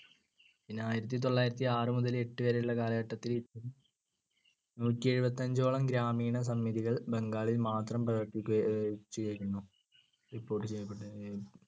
പിന്നെ ആയിരത്തിതൊള്ളായിരത്തിയാറ്‌ മുതൽ എട്ടുവരെയുള്ള കാലഘട്ടത്തിൽ നൂറ്റിയെഴുപത്തഞ്ചോളം ഗ്രാമീണസമിതികൾ ബംഗാളിൽ മാത്രം പ്രവർത്തിക്കുക ചെയ്‌തിരുന്നു. report ചെയ്യപ്പെട്ടിരുന്നു.